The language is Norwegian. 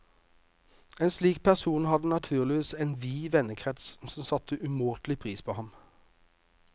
En slik person hadde naturligvis en vid vennekrets som satte umåtelig pris på ham.